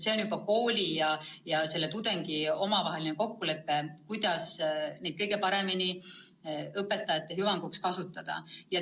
See on juba kooli ja tudengi omavaheline kokkulepe, kuidas kõige paremini õpetajaid aidata saab.